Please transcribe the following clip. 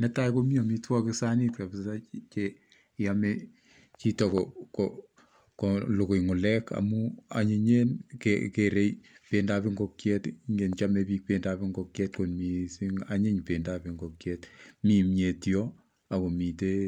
Netai komi amitwokik sanit kapsa cheyome chito kolugui ngulek amun anyinyen, geerei pendoab ingiokiet , chamei biik pendob ingokiet kot mising, anyiny pendoab ingokiet kot mising. Mi kimnyet yo ako mitei